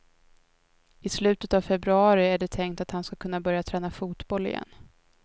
I slutet på februari är det tänkt att han ska kunna börja träna fotboll igen.